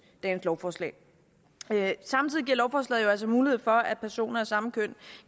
lovforslag samtidig giver lovforslaget jo altså mulighed for at personer af samme køn